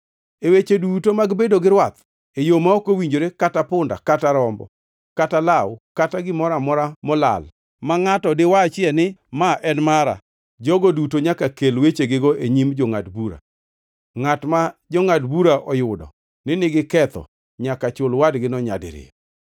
E weche duto mag bedo gi rwath, e yo ma ok owinjore kata punda kata rombo kata law, kata gimoro amora molal ma ngʼato diwachie ni, ‘Ma en mara,’ jogo duto nyaka kel wechegigo e nyim jongʼad bura. Ngʼat ma jongʼad bura oyudo ni nigi ketho, nyaka chul wadgino nyadiriyo.